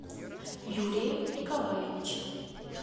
юрием николаевичем